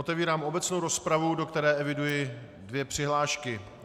Otevírám obecnou rozpravu, do které eviduji dvě přihlášky.